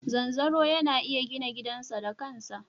Zanzaro yana iya gina gidansa da ƙasa.